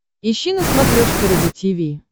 ищи на смотрешке рубль ти ви